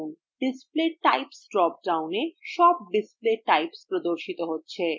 display types drop downএ সব display types প্রদর্শিত হয়